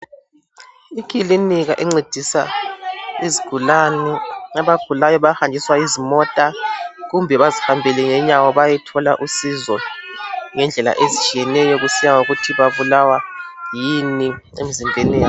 Ekilika encedisa izigulane, abagulayo bahanjwiswa yizimota kumbe bazihambele ngenyawo bayethola usizo ngendlela ezitshiyeneyo kusiya ngokuthi babulawa yini emzimbeni yabo.